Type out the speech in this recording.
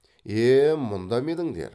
е е мұнда ма едіңдер